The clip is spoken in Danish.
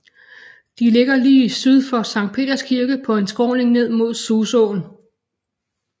De ligger lige syd for Sankt Peders Kirke på en skråning ned mod Susåen